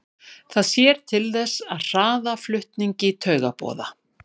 Það sér til þess að hraða flutningi taugaboða.